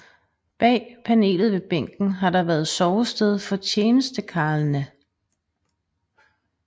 Bag panelet ved bænken har der været sovested for tjenestekarlene